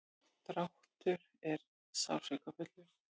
dráttur er sársaukafullur.